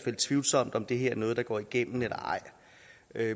er tvivlsomt om det her noget der går igennem eller ej